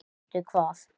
Sástu hvað?